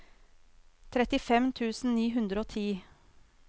trettifem tusen ni hundre og ti